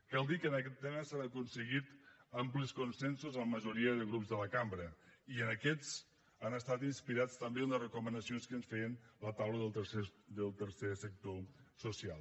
cal dir que en aquest tema s’han aconseguit amplis consensos amb majoria de grups de la cambra i aquests han estat inspirats també en les recomanacions que ens feien la taula del tercer sector social